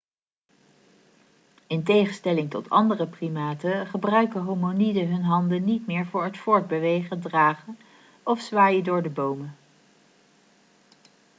in tegenstelling tot andere primaten gebruiken hominiden hun handen niet meer voor het voortbewegen dragen of zwaaien door de bomen